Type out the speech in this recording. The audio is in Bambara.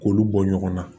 K'olu bɔ ɲɔgɔn na